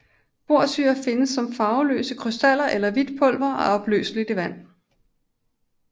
Borsyre findes som farveløse krystaller eller hvidt pulver og er opløseligt i vand